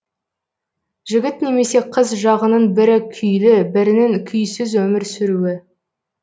жігіт немесе қыз жағының бірі күйлі бірінің күйсіз өмір сүруі